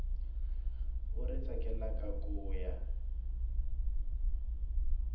u ri tsakelaka ku ya